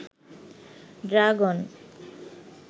dragon